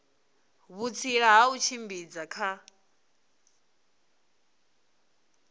vhutsila ha u tshimbidza kha